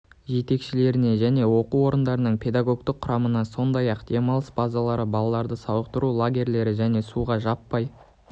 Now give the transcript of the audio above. жетекшілеріне және оқу орындарының педагогтық құрамына сондай-ақ демалыс базалары балаларды сауықтыру лагерьлері және суға жаппай